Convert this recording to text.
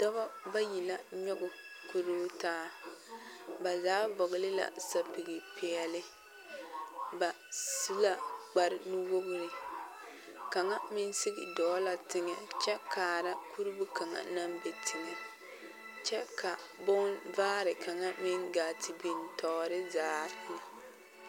Dɔba bayi la nyɔge kuruu taa ba zaa vɔgle la sapige peɛlle ba su la kpare nuwogre kaŋa meŋ sigi dɔɔ la teŋɛ kyɛ kaara kuruu kaŋa naŋ be teŋɛ kyɛ ka bonvaare kaŋa meŋ gaa te biŋ tɔɔre zaa.